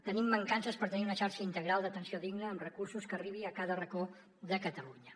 tenim mancances per tenir una xarxa integral d’atenció digna amb recursos que arribi a cada racó de catalunya